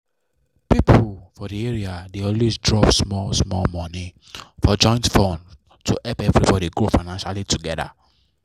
people for the area dey always drop small small money into joint fund to help everybody grow financially together.